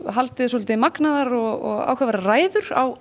haldið svolítið magnaðar og áhugaverðar ræður á